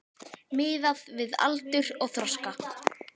Miðað við aldur og þroska.